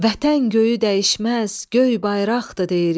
Vətən göyü dəyişməz, göy bayraqdır deyirik.